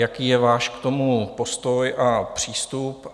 Jaký je váš k tomu postoj a přístup?